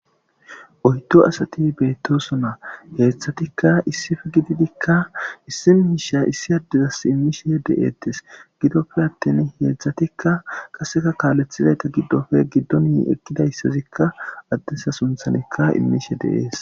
Oydo asati beettoso na heetzthatikka issife gididikka issi miisha issi addezas immishe de7eettes gidofe atten heetzdzatikka qaseka kaalethizayta giddofe giddoni ekkidayssazikka addesa sunthanikka immishe deees.